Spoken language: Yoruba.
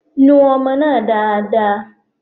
Nu ọmọ náà dáadáa.